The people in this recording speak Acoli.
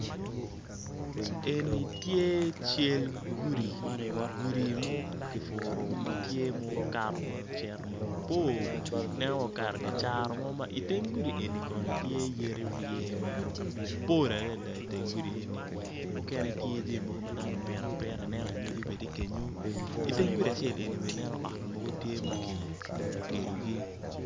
En tye cal gudi, gudi ma kipuru matye ma okato macito mabor ineno wai okato icaro mo ma i teng gudi eni kono yadi orye tye mapol adada i teng gudi eni mukene tye jami mogo madano opito apita i neno anyogi bene kenyo i teng gudi acel eni bene i neno ot mogo tye ma kigedogi.